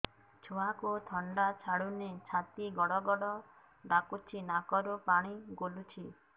ଛୁଆକୁ ଥଣ୍ଡା ଛାଡୁନି ଛାତି ଗଡ୍ ଗଡ୍ ଡାକୁଚି ନାକରୁ ପାଣି ଗଳୁଚି